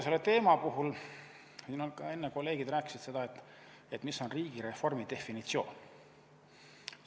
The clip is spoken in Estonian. Siin ka enne kolleegid rääkisid, mis on riigireformi definitsioon.